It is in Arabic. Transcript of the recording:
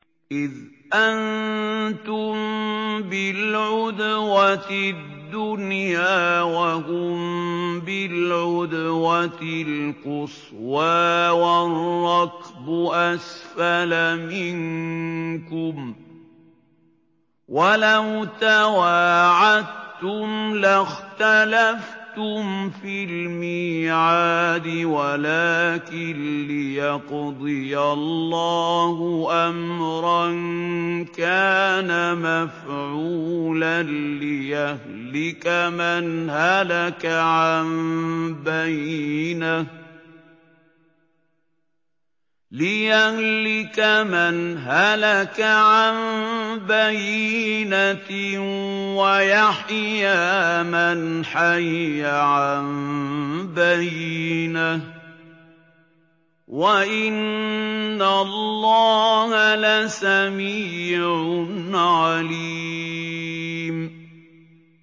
إِذْ أَنتُم بِالْعُدْوَةِ الدُّنْيَا وَهُم بِالْعُدْوَةِ الْقُصْوَىٰ وَالرَّكْبُ أَسْفَلَ مِنكُمْ ۚ وَلَوْ تَوَاعَدتُّمْ لَاخْتَلَفْتُمْ فِي الْمِيعَادِ ۙ وَلَٰكِن لِّيَقْضِيَ اللَّهُ أَمْرًا كَانَ مَفْعُولًا لِّيَهْلِكَ مَنْ هَلَكَ عَن بَيِّنَةٍ وَيَحْيَىٰ مَنْ حَيَّ عَن بَيِّنَةٍ ۗ وَإِنَّ اللَّهَ لَسَمِيعٌ عَلِيمٌ